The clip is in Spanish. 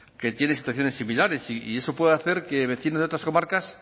que tienen situaciones similares y eso puede hacer que vecinos de otras comarcas